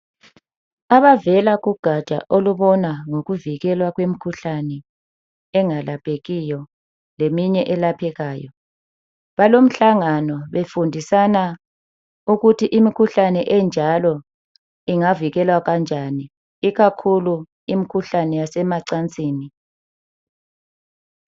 Abavela kugatsha olubona ngokuvikelwa kwemkhuhlane engalaphekiyo leminye elaphekayo balomhlangano befundisana ukuthi imikhuhlane enjalo ingavikelwa njani ikakhulu imkhuhlane yasemacansini.